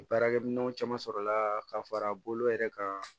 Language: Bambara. Baarakɛminɛnw caman sɔrɔla ka fara bolo yɛrɛ kan